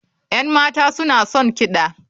Yan mata suna son kiɗa.